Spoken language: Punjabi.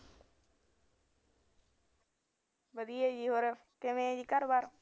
ਵਧੀਆ ਜੀ ਹੋਰ ਕਿਵੇਂ ਐ ਜੀ ਘਰਬਾਰ